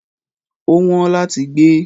Ó wọ́n láti gbé.